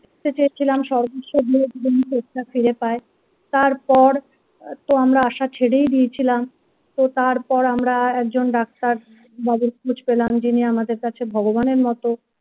চেয়েছিলাম সর্বোচ্চদিয়ে যদি তিনি চোখ টা ফিরে পায় তারপর তো আমরা আশা ছেড়েই দিয়েছিলাম তো তারপর আমরা একজন ডাক্তার বাবু খোঁজ পেলাম যিনি আমাদের কাছে ভগবানের মতো।